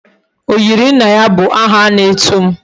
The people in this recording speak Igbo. Oyiri nna ya bu aha ana etum